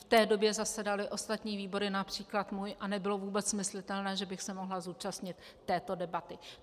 V té době zasedaly ostatní výbory, například můj, a nebylo vůbec myslitelné, že bych se mohla zúčastnit této debaty.